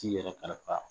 T'i yɛrɛ kalifa